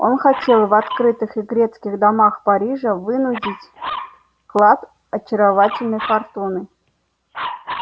он хотел в открытых игрецких домах парижа вынудить клад очарованной фортуны